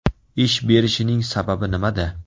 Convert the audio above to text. Ish berishining sababi nimada?